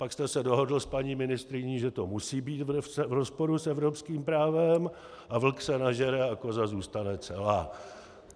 Pak jste se dohodl s paní ministryní, že to musí být v rozporu s evropským právem, a vlk se nažere a koza zůstane celá.